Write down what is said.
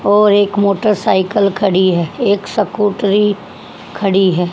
और एक मोटरसाइकल खड़ी है एक स्कूटरी खड़ी है।